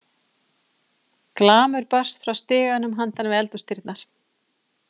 Glamur barst frá stiganum handan við eldhúsdyrnar.